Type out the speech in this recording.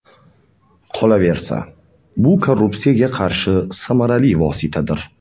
Qolaversa, bu korrupsiyaga qarshi samarali vositadir.